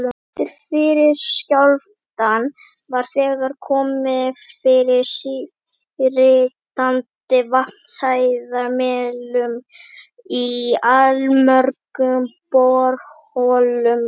Eftir fyrri skjálftann var þegar komið fyrir síritandi vatnshæðarmælum í allmörgum borholum á